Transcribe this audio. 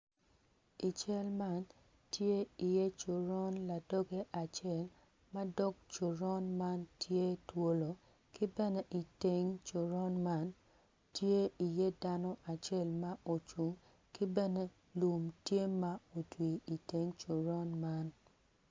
I cal man tye iye coron ladoge acel ma dok coron man tye twolo ki bene iteng coron man tye iye dano acel ma ocung ki bene lum tye ma otwi iteng coron meno.